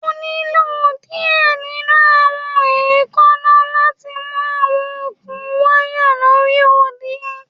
O nilo diẹ ninu awọn eekanna lati mu awọn okun waya lori odi